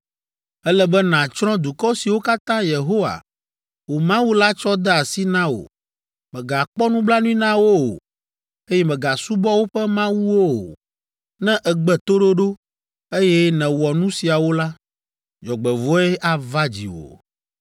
Ele be nàtsrɔ̃ dukɔ siwo katã Yehowa, wò Mawu la tsɔ de asi na wò. Mègakpɔ nublanui na wo o, eye mègasubɔ woƒe mawuwo o. Ne ègbe toɖoɖo, eye nèwɔ nu siawo la, dzɔgbevɔ̃e ava dziwò.